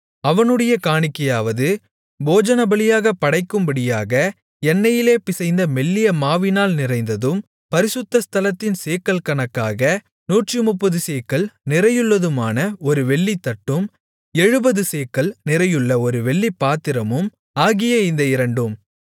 அவனுடைய காணிக்கையாவது போஜனபலியாகப் படைக்கும்படியாக எண்ணெயிலே பிசைந்த மெல்லிய மாவினால் நிறைந்ததும் பரிசுத்த ஸ்தலத்தின் சேக்கல் கணக்காக நூற்றுமுப்பது சேக்கல் நிறையுள்ளதுமான ஒரு வெள்ளித்தட்டும் எழுபது சேக்கல் நிறையுள்ள ஒரு வெள்ளிப்பாத்திரமும் ஆகிய இந்த இரண்டும்